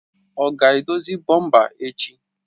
Ọ ga-edozi bọmpa echi?